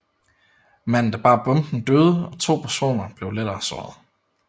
Manden der bar bomben døde og to personer blev lettere såret